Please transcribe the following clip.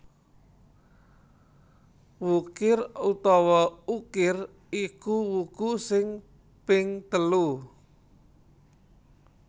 Wukir utawa Ukir iku wuku sing ping telu